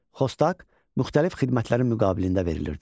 Xostak müxtəlif xidmətlərin müqabilində verilirdi.